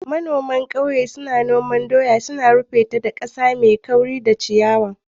Manoma a ƙauye na suna shuka doya a hankali, suna rufe su da ƙasa mai kauri da ciyawa.